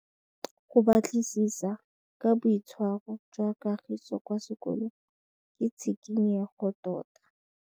Go batlisisa ka boitshwaro jwa Kagiso kwa sekolong ke tshikinyêgô tota.